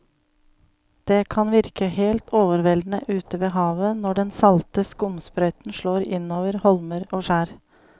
Det kan virke helt overveldende ute ved havet når den salte skumsprøyten slår innover holmer og skjær.